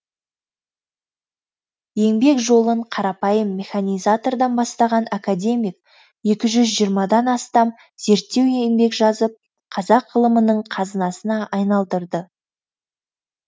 еңбек жолын қарапайым механизатордан бастаған академик екі жүз жиырмадан астам зерттеу еңбек жазып қазақ ғылымының қазынасына айналдырды